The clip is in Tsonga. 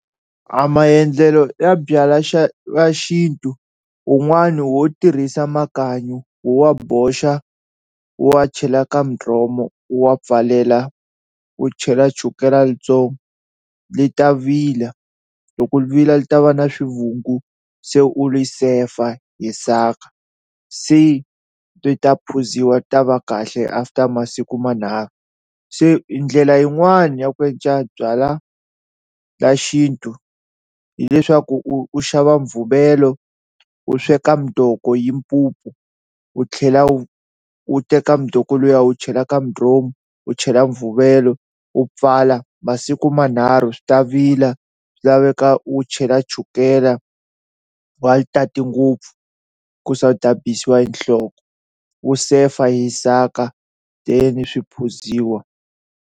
A maendlelo ya byalwa xa ya xintu un'wani wo tirhisa makanyi u wa boxa u wa chela ka mudromo u wa pfalela u chela chukela yitsongo lita vila, loko li vila li ta va na swivungu se u li sefa hi saka se ti ta phuziwa ti ta va kahle after masiku manharhu, se i ndlela yin'wani ya ku endla byalwa la xintu hileswaku u xava mvumelo u sweka mdoko hi mpupu u tlhela u teka mdoko liya u chela ka mudromu u chela mvuvelo u pfala masiku manharhu swi ta vila swi laveka u chela chukele u nga li tati ngopfu ku se u hi nhloko u sefa hi saka then swi phuziwa.